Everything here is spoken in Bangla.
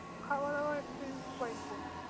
খাওয়া-দাওয়া experience quite good ।